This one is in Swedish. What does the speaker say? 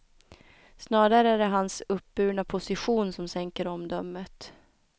Snarare är det hans uppburna position som sänker omdömet.